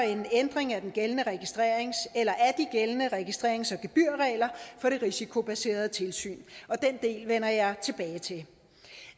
en ændring af de gældende registrerings gældende registrerings og gebyrregler for det risikobaserede tilsyn den del vender jeg tilbage til